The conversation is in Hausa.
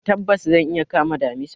Tabbas! zan iya kama damisa.